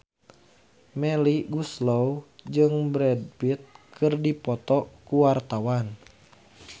Melly Goeslaw jeung Brad Pitt keur dipoto ku wartawan